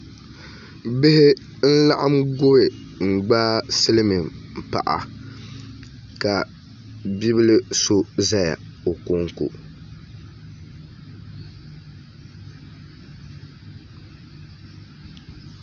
Bihi n laɣam gubi n gbaai silmiin paɣa ka bia bili so ʒɛya o konko